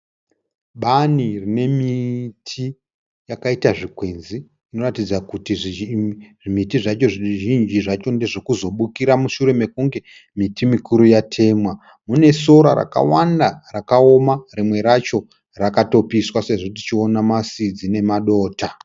Bani nomiti yakaita zvigwenzi inoratidza kuti zvimiti zvacho ndezvekuzobukira mushure me kunge miti mikuru yatemwa. mune sora rakawanda rakaoma rimwe racho rakatopiswa sezvo tichiona masidzi nemadota